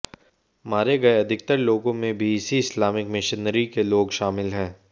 मारे गए अधिकतर लोगों में भी इसी इस्लामिक मिशनरी के लोग शामिल हैं